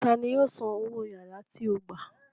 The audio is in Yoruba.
Ta ni yóò san owó yàrá tí ó gbà